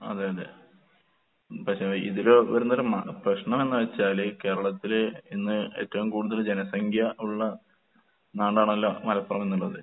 അതെ അതെ. പക്ഷെ ഇതില് വരുന്നൊരു മ പ്രശ്നമെന്ന് വെച്ചാല് കേരളത്തില് ഇന്ന് ഏറ്റവും കൂടുതൽ ജനസംഖ്യ ഉള്ള നാടാണല്ലോ മലപ്പുറംന്നുള്ളത്.